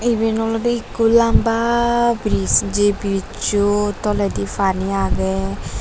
iben olodey ikko lamba brij je brijjo toledi fani agey.